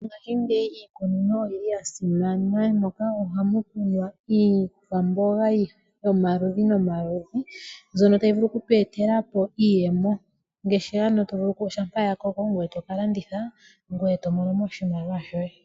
Mongashingeyi iikunino oyi li ya simana, moka ohamu kunwa iikwamboga yomaludhi nomaludhi. Mbyono tayi vulu oku tu etela po iiyemo. Ngaashi ano to vulu shampa ya koko ngoye to landitha, ngoye to mono mo oshimaliwa shoye.